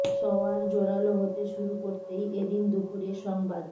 সওয়ার জোরাল হতে শুরু করতেই এ দিন দুপুরে সংবাদ